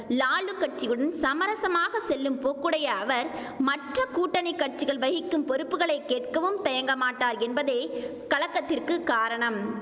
லாலு கட்சியுடன் சமரசமாக செல்லும் போக்குடைய அவர் மற்ற கூட்டணி கட்சிகள் வகிக்கும் பொறுப்புகளை கேட்கவும் தயங்கமாட்டார் என்பதே கலக்கத்திற்கு காரணம்